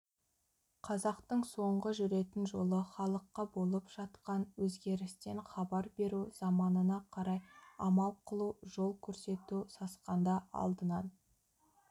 қазақтың соңғы жүретін жолы халыққа болып жатқан өзгерістен хабар беру заманына қарай амал қылу жол көрсету сасқанда алдынан